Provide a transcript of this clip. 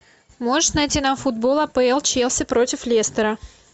можешь найти нам футбол апл челси против лестера